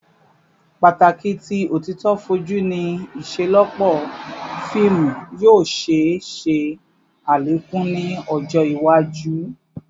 Pataki ti otito foju ni iṣelọpọ fiimu yoo ṣee ṣe alekun ni ọjọ iwaju